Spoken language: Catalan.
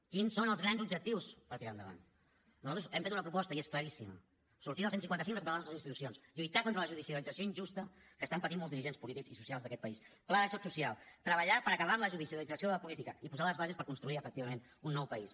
quins són els grans objectius per tirar endavant nosaltres hem fet una proposta i és claríssima sortir del cent i cinquanta cinc i recuperar les nostres institucions lluitar contra la judicialització injusta que estan patint molts dirigents polítics i socials d’aquest país pla de xoc social treballar per acabar amb la judicialització de la política i posar les bases per a construir efectivament un nou país